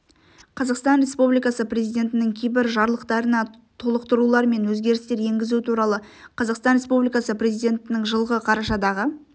қазақстан республикасы президентінің кейбір жарлықтарына толықтырулар мен өзгерістер енгізу туралы қазақстан республикасы президентінің жылғы қарашадағы